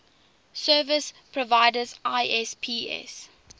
service providers isps